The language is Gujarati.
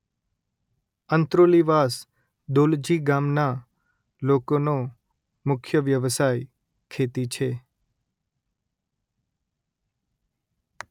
અંત્રોલીવાસ દોલજી ગામના લોકોનો મુખ્ય વ્યવસાય ખેતી છે